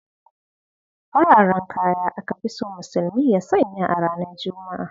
Fararen kaya aka fi so musulmi su sanya a ranar juma'a.